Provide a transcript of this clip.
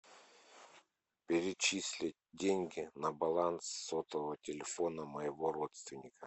перечисли деньги на баланс сотового телефона моего родственника